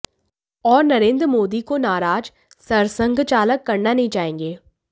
और नरेन्द्र मोदी को नाराज सरसंघचालक करना नहीं चाहेंगे